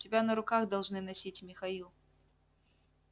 тебя на руках должны носить михаил